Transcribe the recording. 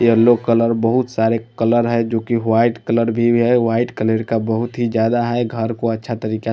yellow colour बहुत सारे colour है जो कि वाईट कलर भी है वाईट कलर का बहुत ही ज्यादा है घर को अच्छा तरीका--